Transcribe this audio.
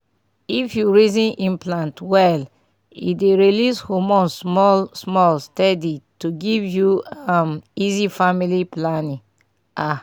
if you reason implant well e dey release hormone small-small steady to give you um easy family planning. pause small ah!